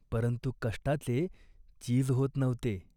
परंतु कष्टाचे चीज होत नव्हते.